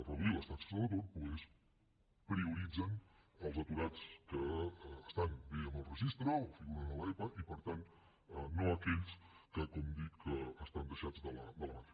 reduir les taxes de l’atur doncs prioritzen els aturats que estan bé en el registre o figuren a l’epa i per tant no aquells que com dic estan deixats de la mà de déu